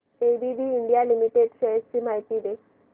ABB India Limited shares ची माहिती दे